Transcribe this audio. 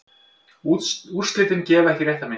Úrslitin gefa ekki rétta mynd.